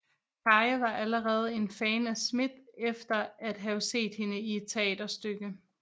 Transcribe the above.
Kaye var allerede en fan af Smith efter at have set hende i et teaterstykke